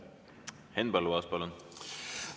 Henn Põlluaas, palun!